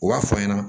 U b'a fɔ an ɲɛna